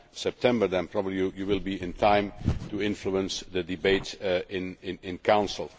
by September then probably you would be in time to influence the debate in the Council.